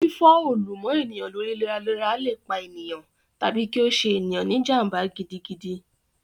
Fífọ́ òòlù mọ́ ènìyàn lórí léraléra lè pa ènìyàn, tàbí kí ó ṣe ènìyàn ní jàm̀bà gidigidi